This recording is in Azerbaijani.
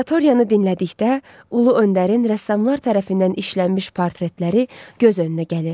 Aratoriyanı dinlədikdə Ulu Öndərin rəssamlar tərəfindən işlənmiş portretləri göz önünə gəlir.